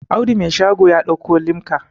Audu Mai shago ya dauko limka